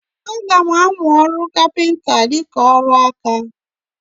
Aga m amụ ọrụ kapịnta dịka ọrụ aka.